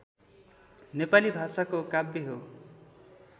नेपाली भाषाको काव्य हो